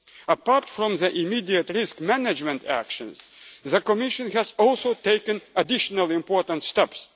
Apart from the immediate risk management actions, the Commission has also taken additional important